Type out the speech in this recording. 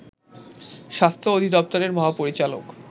স্বাস্থ্য অধিদপ্তরের মহাপরিচালক